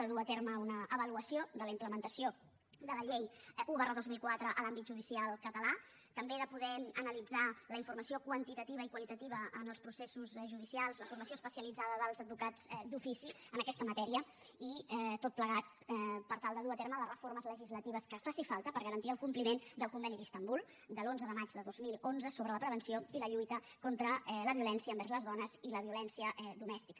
de dur a terme una avaluació de la implementació de la llei un dos mil quatre a l’àmbit judicial català també de poder analitzar la informació quantitativa i qualitativa en els processos judicials la formació especialitzada dels advocats d’ofici en aquesta matèria i tot plegat per tal de dur a terme les reformes legislatives que facin falta per garantir el compliment del conveni d’istanbul de l’onze de maig del dos mil onze sobre la prevenció i la lluita contra la violència envers les dones i la violència domèstica